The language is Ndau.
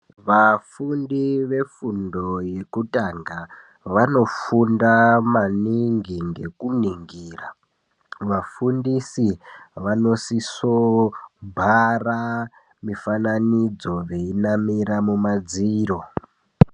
Vafundi vefundo yekutanga, vanofunda maningi ngekuningira. Vafundisi vanosisobhara mifananidzo veinamira mumadziro.